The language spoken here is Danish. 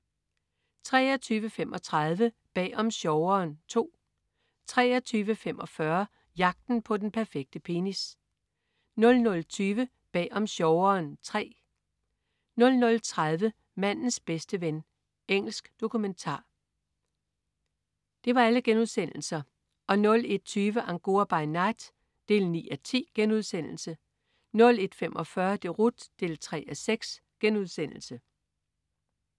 23.35 Bag om sjoveren II* 23.45 Jagten på den perfekte penis* 00.20 Bag om sjoveren III* 00.30 Mandens bedste ven.* Engelsk dokumentar 01.20 Angora by night 9:10* 01.45 Deroute 3:6*